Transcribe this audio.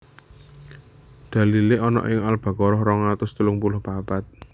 Dalilé ana ing Al Baqarah rong atus telung puluh papat